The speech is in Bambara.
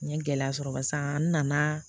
N ye gɛlɛya sɔrɔ barisa n nana